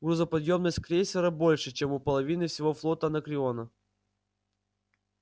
грузоподъёмность крейсера больше чем у половины всего флота анакреона